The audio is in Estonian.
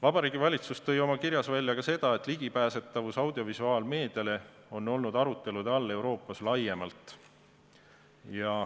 Vabariigi Valitsus tõi oma kirjas välja ka seda, et ligipääsemine audiovisuaalmeediale on olnud arutelude all Euroopas laiemalt.